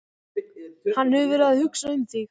Hann hefur verið að hugsa um þig.